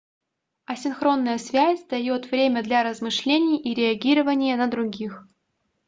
асинхронная связь даёт время для размышлений и реагирования на других